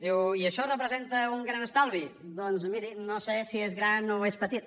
diu i això representa un gran estalvi doncs miri no sé si és gran o és petit